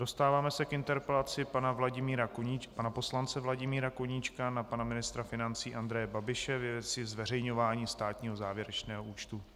Dostáváme se k interpelaci pana poslance Vladimíra Koníčka na pana ministra financí Andreje Babiše ve věci zveřejňování státního závěrečného účtu.